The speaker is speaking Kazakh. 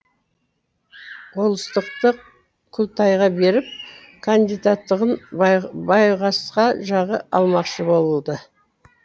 болыстықты күлтайға беріп кандидаттығын байғасқа жағы алмақшы болды